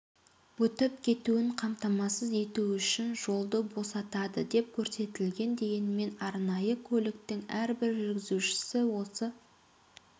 өтіп кетуін қамтамасыз ету үшін жолды босатады деп көрсетілген дегенмен арнайы көліктің әрбір жүргізушісі осы